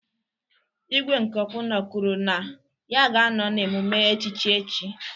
Igwe nke Okpuno kwuru na ya ga-anọ na emume echichi echi.